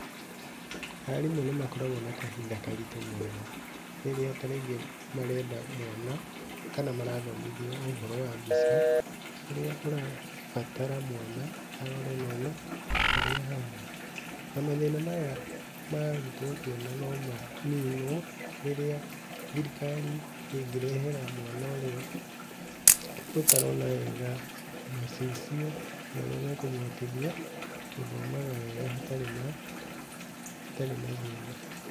Aarimũ nĩmakoragwo na kahĩnda karĩtu mũno, rĩrĩa tarĩngĩ marenda mwana kana marathomĩthĩa ũhoro wa mbica ũrĩa ũrabatara mwana arore na one ũrĩa ĩhana. Na mathĩna maya mangĩtua kuonwo no manĩnwo rĩrĩa thirikari ĩngĩrehera mwana ũrĩa ũtarona wega macicio marĩa mekũmũhotĩthia gũthomaga wega hatarĩ na thĩna.